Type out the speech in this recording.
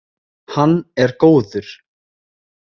Hann er góður.